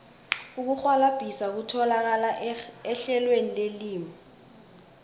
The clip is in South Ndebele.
ukurhwalabhisa kutholakala ehlelweni lelimi